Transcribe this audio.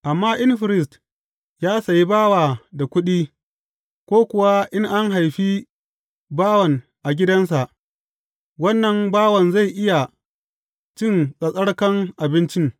Amma in firist ya sayi bawa da kuɗi, ko kuwa in an haifi bawan a gidansa, wannan bawan zai iya cin tsattsarkan abincin.